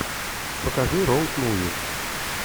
покажи роуд муви